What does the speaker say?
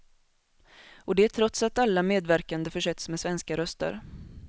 Och det trots att alla medverkande försetts med svenska röster.